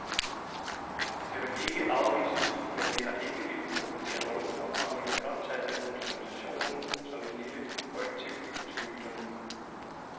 Det kan vel ikke afvises, men vi har ikke villet provokere nogen og fremlægger blot tallene og dokumentationen som et lille korrektiv til myterne.